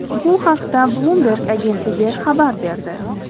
Bu haqda Bloomberg agentligi xabar berdi .